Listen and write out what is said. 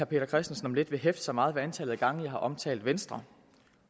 peter christensen om lidt vil hæfte sig meget ved antallet af gange jeg har omtalt venstre